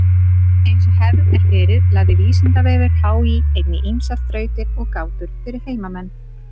Eins og hefð er fyrir lagði Vísindavefur HÍ einnig ýmsar þrautir og gátur fyrir heimamenn.